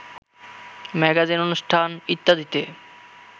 magazine অনুষ্ঠান ইত্যাদিতে